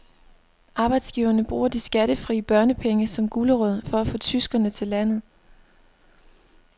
Arbejdsgiverne bruger de skattefri børnepenge som gulerod for at få tyskere til landet.